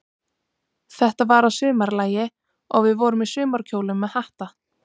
Þetta var að sumarlagi, og við vorum í sumarkjólum með hatta.